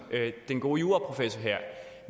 den gode juraprofessor